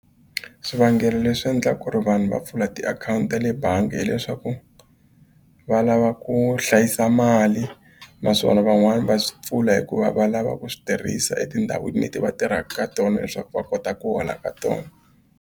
Swivangelo leswi endlaka ku ri vanhu va pfula tiakhawunti ta le bangi hileswaku va lava ku hlayisa mali naswona van'wani va swi pfula hikuva va lava ku swi tirhisa etindhawini leti va tirhaka ka tona leswaku va kota ku hola ka tona.